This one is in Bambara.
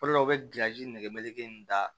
O de la u bɛ gilansi nɛgɛje in da